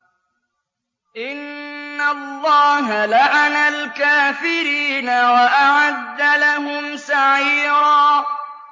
إِنَّ اللَّهَ لَعَنَ الْكَافِرِينَ وَأَعَدَّ لَهُمْ سَعِيرًا